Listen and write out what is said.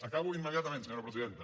acabo immediatament senyora presidenta